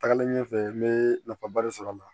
Tagalen ɲɛfɛ n bɛ nafaba de sɔrɔ a la